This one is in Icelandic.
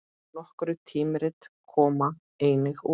Nokkur tímarit koma einnig út.